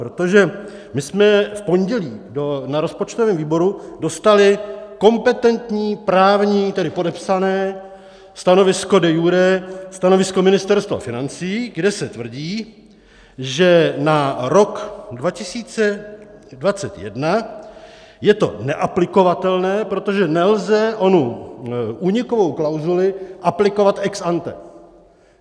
Protože my jsme v pondělí na rozpočtovém výboru dostali kompetentní právní, tedy podepsané, stanovisko de iure, stanovisko Ministerstva financí, kde se tvrdí, že na rok 2021 je to neaplikovatelné, protože nelze onu únikovou klauzuli aplikovat ex ante.